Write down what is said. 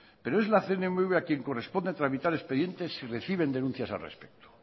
pero es la cnmv a quien corresponde tramitar expedientes si reciben denuncias al respecto